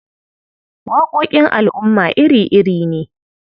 Waƙoƙin al'umma iri-iri ne.